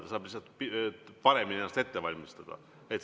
Ta saab lihtsalt paremini ennast ette valmistada.